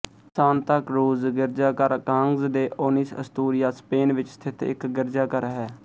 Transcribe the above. ਸਾਂਤਾਕਰੂਜ਼ ਗਿਰਜਾਘਰ Cangas de Onis Asturias Spain ਵਿੱਚ ਸਥਿਤ ਇੱਕ ਗਿਰਜਾਘਰ ਹੈ